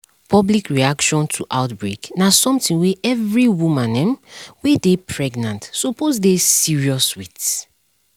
public reaction to outbreak na something wey every woman um wey dey pregnant suppose dey serious with